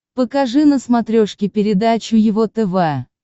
покажи на смотрешке передачу его тв